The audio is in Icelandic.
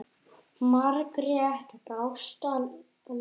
Margrét brást aldrei.